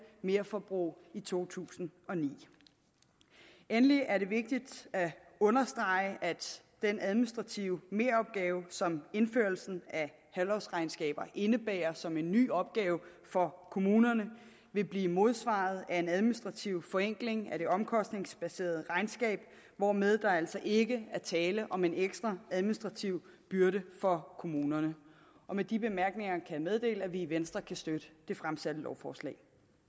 merforbrug i to tusind og ni endelig er det vigtigt at understrege at den administrative meropgave som indførelsen af halvårsregnskaber indebærer som en ny opgave for kommunerne vil blive modsvaret af en administrativ forenkling af det omkostningsbaserede regnskab hvormed der altså ikke er tale om en ekstra administrativ byrde for kommunerne med de bemærkninger kan jeg meddele at vi i venstre kan støtte det fremsatte lovforslag